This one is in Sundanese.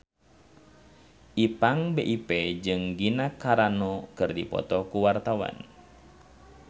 Ipank BIP jeung Gina Carano keur dipoto ku wartawan